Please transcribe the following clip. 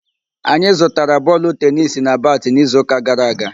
Anyị zụtara bọọlụ tenisi na batị n'izuụka gara aga